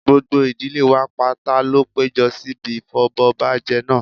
gbogbo ìdílé wa pátá ló péjú síbi ìfọbọbajẹ náà